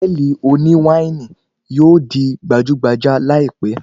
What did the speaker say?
Hòtẹ́ẹ̀lì oní wáìnì yóò di gbajúgbajà láìpẹ́.